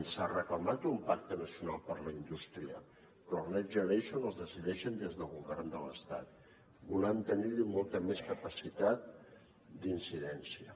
s’ha reclamat un pacte nacional per a la indústria però els next generation els decideixen des del govern de l’estat volem tenir hi molta més capacitat d’incidència